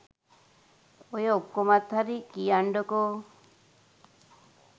ඔය ඔක්කොමත් හරි කියන්ඩකෝ